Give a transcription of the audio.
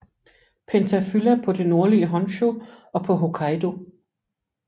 Pentaphylla på det nordlige Honshu og på Hokkaido